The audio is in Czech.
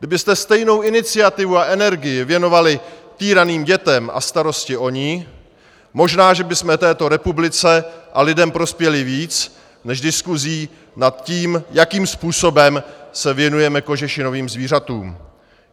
Kdybyste stejnou iniciativu a energii věnovali týraným dětem a starosti o ně, možná, že bychom této republice a lidem prospěli víc než diskusí nad tím, jakým způsobem se věnujeme kožešinovým zvířatům.